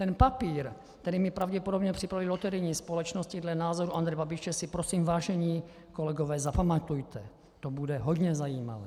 - Ten papír, který mi pravděpodobně připravily loterijní společnosti dle názoru Andreje Babiše, si prosím, vážení kolegové, zapamatujte, to bude hodně zajímavé.